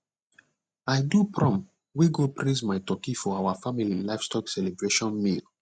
i do prom wey go praise my turkey for our family livestock celebration meal